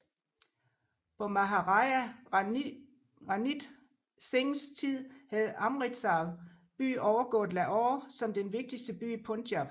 På Maharaja Ranjit Singhs tid havde Amritsar by overgået Lahore som den vigtigste by i Punjab